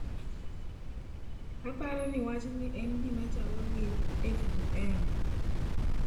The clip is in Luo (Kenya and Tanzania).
"Aparo ni wachni en gimachal (gi FGM).""